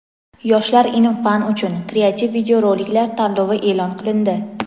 "Yoshlar ilm-fan uchun" kreativ videoroliklar tanlovi e’lon qilindi.